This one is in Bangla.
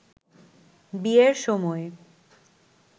বিয়ের সময়